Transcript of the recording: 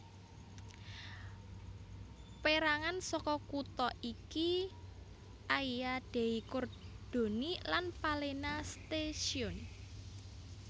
Pérangan saka kutha iki Aia dei Cordoni lan Palena stazione